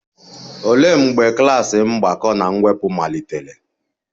Olee mgbe klas mgbakọ na mwepụ malitere?